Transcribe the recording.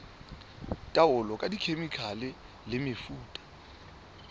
taolo ka dikhemikhale le mefuta